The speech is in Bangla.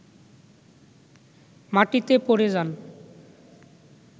মাটিতে পড়ে যান